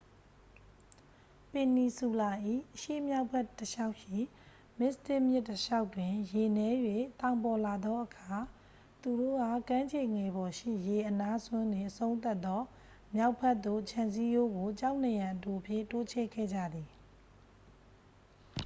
ပင်နီဆူလာ၏ အရှေ့မြောက်ဘက် တစ်လျှောက်ရှိ မစ္စတစ်မြစ်တစ်လျှောက်တွင် ရေနည်း၍ သောင်ပေါ်လာသောအခါ သူတို့က ကမ်းခြေငယ်ပေါ်ရှိ ရေအနားစွန်းတွင် အဆုံးသတ်သော မြောက်ဘက်သို့ ခြံစည်းရိုးကို ကျောက်နံရံအတိုဖြင့် တိုးချဲ့ခဲ့ကြသည်